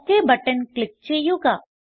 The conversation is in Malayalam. ഒക് ബട്ടൺ ക്ലിക്ക് ചെയ്യുക